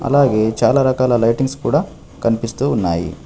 అలాగే చాలా రకాల లైటింగ్స్ కూడా కన్పిస్తూ ఉన్నాయి.